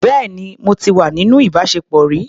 Bẹ́ẹ̀ni, mo ti wà níní ìbáṣepọ̀ rí.